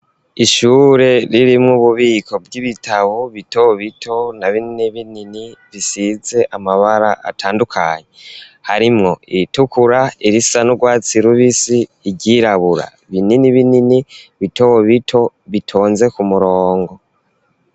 Ishure ririmwo ububiko bw'ibitabo bito bito na binini binini bisize amabara atandukanye harimwo iritukura irisa n'urwatsi rubisi iryirabura binini binini bitobo bito bitonze ku murongo.